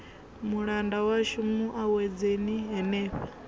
mulanda washu mu awedzeni henefha